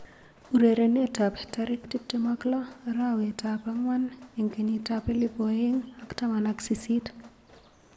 Urerenet ab tarik tip tem ak lo arawet ab angwan eng kenyit ab elipu aeng ak taman ak sisit.